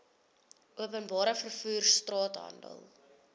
openbare vervoer straathandel